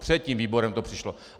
Před tím výborem to přišlo.